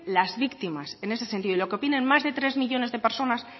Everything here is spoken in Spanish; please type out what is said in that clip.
las víctimas en ese sentido y lo que opinen más de tres millónes de personas